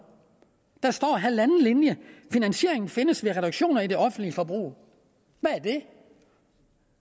der står halvanden linje finansieringen findes ved reduktioner i det offentlige forbrug hvad er det